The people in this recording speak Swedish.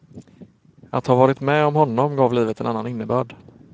Att ha varit med om honom gav livet en annan innebörd.